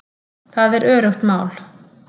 Það er öruggt mál